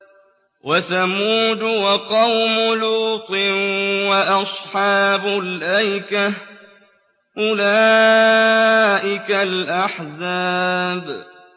وَثَمُودُ وَقَوْمُ لُوطٍ وَأَصْحَابُ الْأَيْكَةِ ۚ أُولَٰئِكَ الْأَحْزَابُ